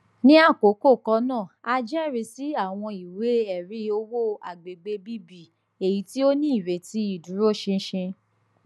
ni akoko kan naa a jẹrisi awọn iweẹri owo agbegbe bb eyiti o ni ireti iduroṣinṣin